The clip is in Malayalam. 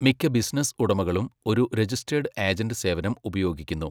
മിക്ക ബിസിനസ്സ് ഉടമകളും ഒരു രജിസ്റ്റെഡ് ഏജന്റ് സേവനം ഉപയോഗിക്കുന്നു.